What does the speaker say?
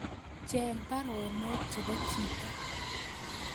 Swen baruonok chebo chito